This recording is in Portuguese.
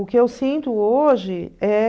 O que eu sinto hoje é